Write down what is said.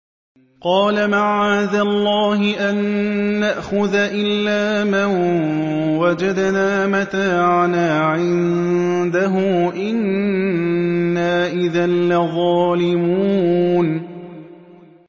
قَالَ مَعَاذَ اللَّهِ أَن نَّأْخُذَ إِلَّا مَن وَجَدْنَا مَتَاعَنَا عِندَهُ إِنَّا إِذًا لَّظَالِمُونَ